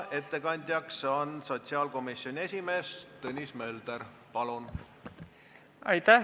Ettekandjaks on sotsiaalkomisjoni esimees Tõnis Mölder, palun!